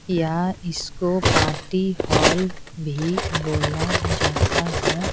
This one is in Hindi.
या इसको पार्टी हॉल भी बोला जाता है।